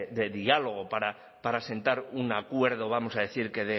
de diálogo para asentar un acuerdo vamos a decir que